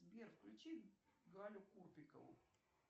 сбер включи галю копикову